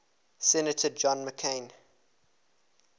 senator john mccain